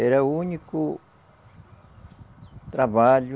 Era o único trabalho